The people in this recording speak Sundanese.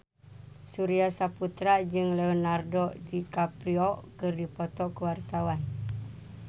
Surya Saputra jeung Leonardo DiCaprio keur dipoto ku wartawan